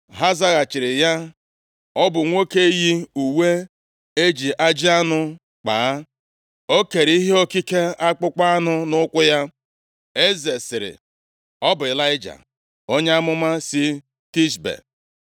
Ha zaghachiri ya, “Ọ bụ nwoke yi uwe e ji ajị anụ kpaa; o kere ihe okike akpụkpọ anụ nʼukwu ya.” Eze sịrị, “Ọ bụ Ịlaịja, onye amụma si Tishbe!”